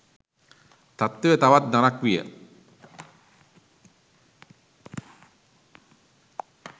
තත්වය තවත් නරක් විය.